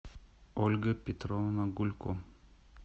ольга петровна гулько